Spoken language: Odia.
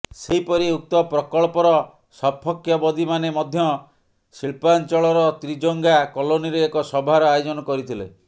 ସେହିପରି ଉକ୍ତ ପ୍ରକଳ୍ପର ସପକ୍ଷବଦୀମାନେ ମଧ୍ୟ ଶିଳ୍ପାଞ୍ଚଳର ତ୍ରିଜଙ୍ଗା କଲୋନୀରେ ଏକ ସଭାର ଆୟୋଜନ କରିଥିଲେ